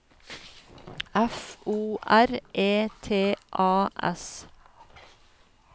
F O R E T A S